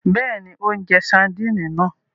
Bẹẹni, o njẹ sardini náà